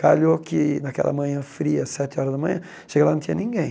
Calhou que naquela manhã fria, sete horas da manhã, chega lá não tinha ninguém.